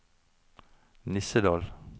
Nissedal